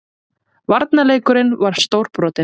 Varnarleikurinn var stórbrotinn